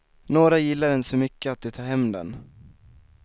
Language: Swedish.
Några gillar den så mycket att de tar hem den.